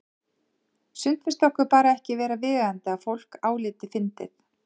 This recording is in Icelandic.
Sumt finnst okkur bara ekki vera viðeigandi að fólk álíti fyndið.